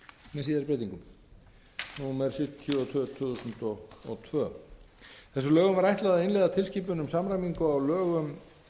með síðari breytingum númer sjötíu og tvö tvö þúsund og tvö þessum lögum var ætlað að innleiða tilskipun um samræmingu á lögum